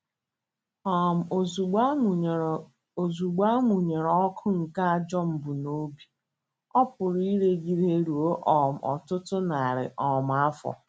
um Ozugbo a mụnyere Ozugbo a mụnyere ọkụ nke ajọ mbunobi, ọ pụrụ iregide ruo um ọtụtụ narị um afọ.